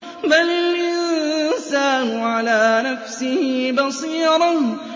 بَلِ الْإِنسَانُ عَلَىٰ نَفْسِهِ بَصِيرَةٌ